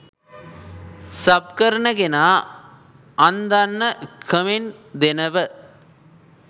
sub කරන කෙනා අන්දන්න කමෙන්ට් දෙනව